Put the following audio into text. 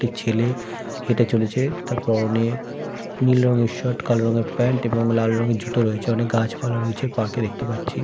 একটি ছেলে হেটে চলেছে তার পরনে নীল রঙের শার্ট কালো রঙের প্যান্ট এবং লাল রঙের জুতো রয়েছে অনেক গাছপালা রয়েছে পার্ক -এ দেখতে পাচ্ছি ।